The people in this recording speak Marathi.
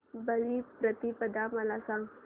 बलिप्रतिपदा मला सांग